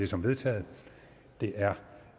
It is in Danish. som vedtaget det er